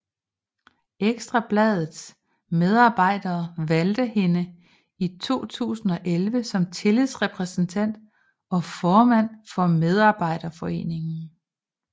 Ekstra Bladets medarbejdere valgte hende i 2011 som tillidsrepræsentant og formand for medarbejderforeningen